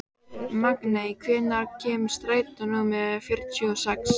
Magney, hvenær kemur strætó númer fjörutíu og sex?